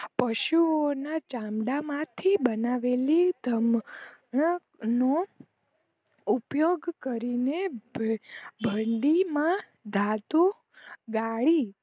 પશુઓ ના ચાંદા મા થી બનાવેલી નો ઉપયોગ કરીને ભંડી માં ધાતો ગાડિ